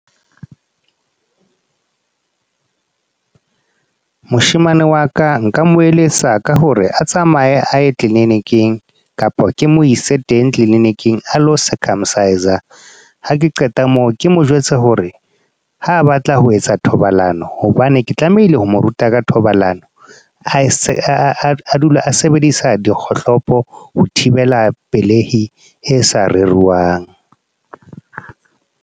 Moshemane wa ka, nka mo eletsa ka hore a tsamaye a ye clinic-ing. Kapa ke mo ise teng clinic-ing a lo circumcise. Ha ke qeta moo, ke mo jwetse hore ha batla ho etsa thobalano, hobane ke tlamehile ho mo ruta ka thobalano. A dule a sebedisa dikgohlopo ho thibela pelehi, e sa bolokehang.